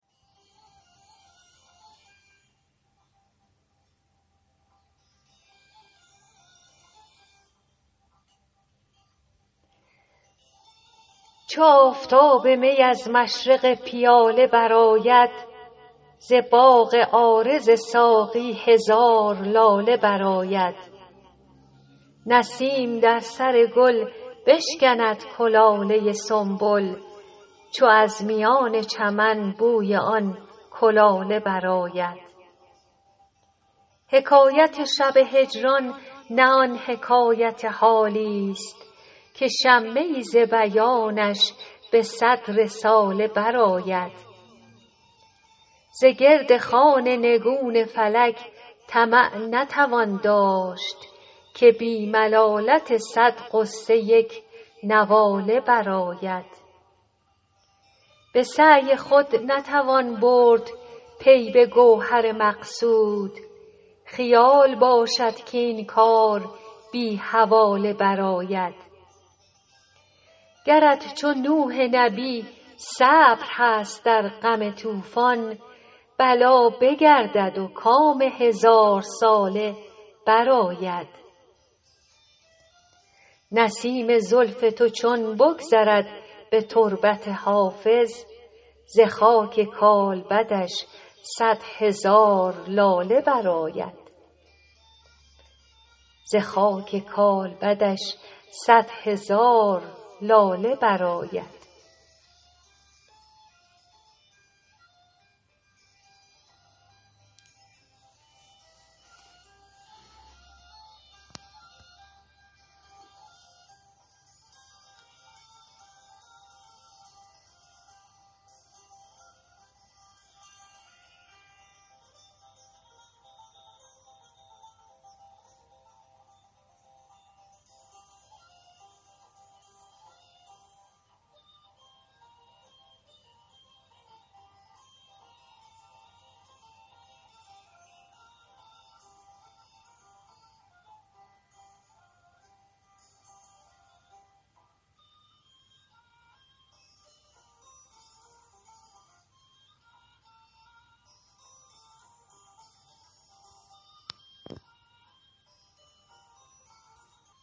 چو آفتاب می از مشرق پیاله برآید ز باغ عارض ساقی هزار لاله برآید نسیم در سر گل بشکند کلاله سنبل چو از میان چمن بوی آن کلاله برآید حکایت شب هجران نه آن حکایت حالیست که شمه ای ز بیانش به صد رساله برآید ز گرد خوان نگون فلک طمع نتوان داشت که بی ملالت صد غصه یک نواله برآید به سعی خود نتوان برد پی به گوهر مقصود خیال باشد کاین کار بی حواله برآید گرت چو نوح نبی صبر هست در غم طوفان بلا بگردد و کام هزارساله برآید نسیم زلف تو چون بگذرد به تربت حافظ ز خاک کالبدش صد هزار لاله برآید